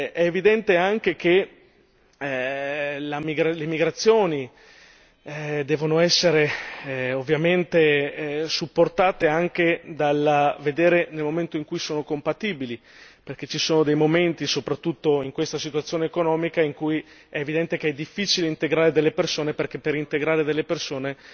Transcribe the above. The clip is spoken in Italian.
È evidente anche che le migrazioni devono essere ovviamente supportate anche dal vedere nel momento in cui sono compatibili, perché ci sono dei momenti, soprattutto in questa situazione economica, in cui è evidente che è difficile integrare delle persone perché per integrare delle persone